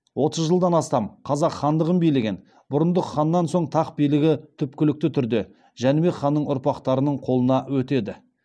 отыз жылдан астам қазақ хандығын билеген бұрындық ханнан соң тақ билігі түпкілікті түрде жәнібек ханның ұрпақтарының қолына өтеді